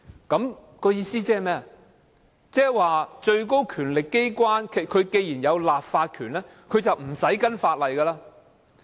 換言之，最高權力機關既然有立法權，便無須根據法例行事。